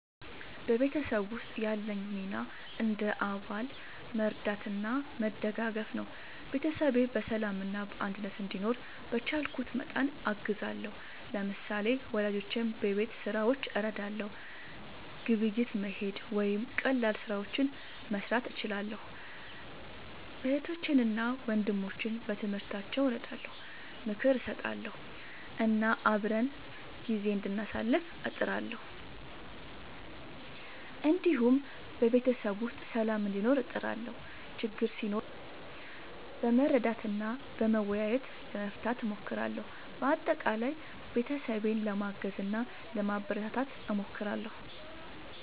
በቤተሰብ ውስጥ ያለኝ ሚና እንደ አባል መርዳትና መደጋገፍ ነው። ቤተሰቤ በሰላምና በአንድነት እንዲኖር በቻልኩት መጠን አግዛለሁ። ለምሳሌ፣ ወላጆቼን በቤት ሥራዎች እረዳለሁ፣ ግብይት መሄድ ወይም ቀላል ስራዎችን መስራት እችላለሁ። እህቶቼንና ወንድሞቼን በትምህርታቸው እረዳለሁ፣ ምክር እሰጣለሁ እና አብረን ጊዜ እንዳሳልፍ እጥራለሁ። እንዲሁም በቤተሰብ ውስጥ ሰላም እንዲኖር እጥራለሁ፣ ችግር ሲኖር በመረዳዳት እና በመወያየት ለመፍታት እሞክራለሁ። በአጠቃላይ ቤተሰቤን ለማገዝ እና ለማበረታታት እሞክራለሁ።